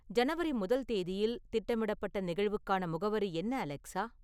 ஜனவரி முதல் தேதியில் திட்டமிடப்பட்ட நிகழ்வுக்கான முகவரி என்ன அலெக்சா